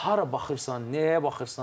Hara baxırsan, nəyə baxırsan?